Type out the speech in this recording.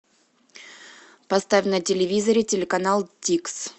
поставь на телевизоре телеканал тикс